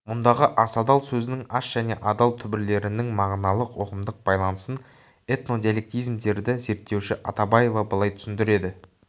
мұндағы асадал сөзінің ас және адал түбірлерінің мағыналық ұғымдық байланысын этнодиалектизмдерді зерттеуші атабаева былай түсіндіреді